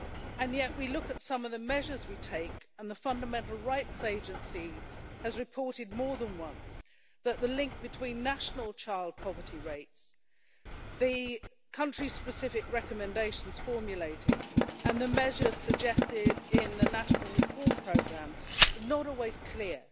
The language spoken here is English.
And yet we look at some of the measures we take, and the Fundamental Rights Agency has reported more than once that the link between national child poverty rates, the country-specific recommendations formulated and the measures suggested in the national reform programmes are not always clear.